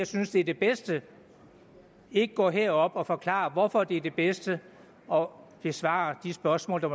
synes det er det bedste ikke går herop og forklarer hvorfor det er det bedste og besvarer de spørgsmål der